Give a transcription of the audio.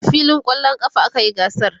a filin kwallon ƙafa a kayi gasar